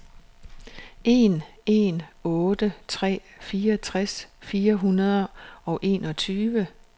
en en otte tre fireogtres fire hundrede og enogtyve